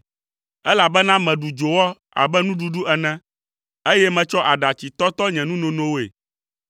Elabena meɖu dzowɔ abe nuɖuɖu ene, eye metsɔ aɖatsi tɔtɔ nye nunonoe,